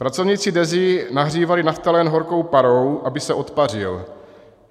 Pracovníci DEZA nahřívali naftalen horkou parou, aby se odpařil.